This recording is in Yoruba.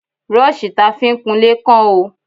Brọ́ṣì ta fi ń kunlé kán o.